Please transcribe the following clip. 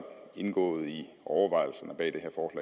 indgået i overvejelserne bag